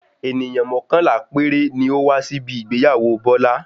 Ènìyàn mọ́kànlá péré ni ó máa wá síbi ìgbéyàwó Bọ́lá.